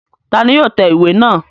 Ta ni yóò tẹ ìwé náà?